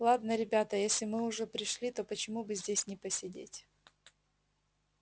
ладно ребята если мы уже пришли то почему бы здесь не посидеть